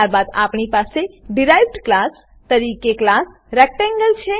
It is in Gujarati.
ત્યારબાદ આપણી પાસે ડીરાઇવ્ડ ક્લાસ તરીકે ક્લાસ રેક્ટેંગલ છે